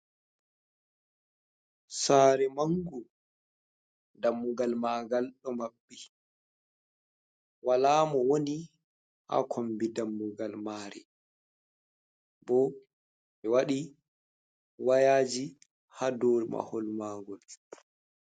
Sare mangu, dammugal maagal do maɓɓi wala mo woni ha kombi dammugal mare. Bo ɓe waɗi wayaji ha dow mahol maagol.